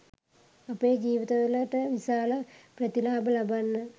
අපේ ජීවිතවලට විශාල ප්‍රතිලාභ ලබන්න